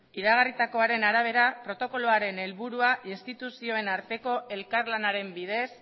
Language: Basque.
jarraitu iragarritakoaren arabera protokoloaren helburua instituzioen arteko elkarlanaren bidez